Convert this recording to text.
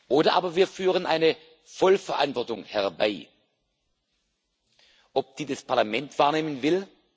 Oder aber wir führen eine Vollverantwortung herbei. Ob die das Parlament wahrnehmen will?